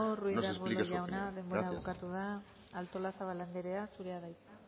nos explique su opinión gracias eskerrik asko ruiz de arbulo jauna denbora bukatu da artolazabal anderea zurea da hitza